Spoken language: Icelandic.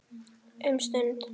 Um stund.